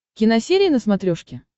киносерия на смотрешке